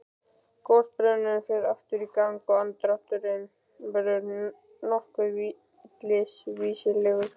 Gosbrunnurinn fer aftur í gang og andardrátturinn verður nokkuð villisvínslegur.